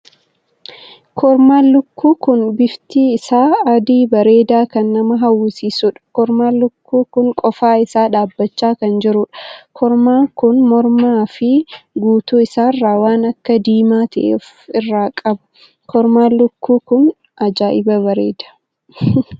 Kormaan lukkuu kun bifti isaa adii bareedaa kan nama hawwisiisuudha. kormaan lukkuu kun qofaa isaa dhaabbachaa kan jiruudha. korma kun mormaa fi guutuu isaarra waan akka diimaa tahe of irraa qaba. kormaan lukkuu kun ajaa'iba bareeda!